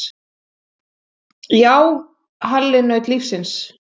Já, Halli naut lífsins.